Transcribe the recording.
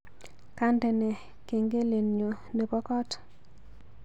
Kandene kengelenyu nebo koot